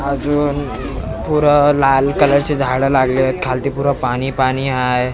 अजून पुरा लाल कलरचे झाडं लागले आहेत खालती पुरा पाणी पाणी हाय.